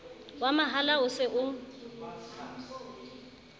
wa mahala o se o